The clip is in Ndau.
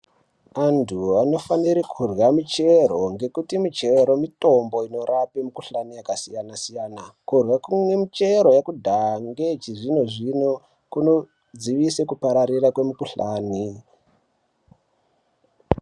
Antu vanofanire kurye michero ngekuti michero mitombo inorape mikhuhlani yakasiyanasiyana kurye michero yekudhaya ngechizvinozvino kunodzivise kupararira kwemikhuhlani.